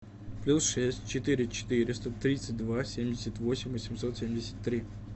плюс шесть четыре четыреста тридцать два семьдесят восемь восемьсот семьдесят три